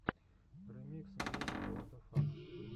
ремикс гейм уадафак